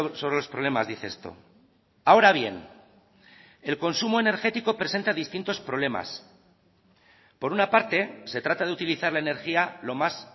sobre los problemas dice esto ahora bien el consumo energético presenta distintos problemas por una parte se trata de utilizar la energía lo más